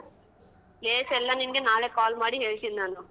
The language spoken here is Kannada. Place ಎಲ್ಲಾ ನಿನಗೆ ನಾಳೆ call ಮಾಡಿ ಹೇಳ್ತೀನಿ ನಾನು.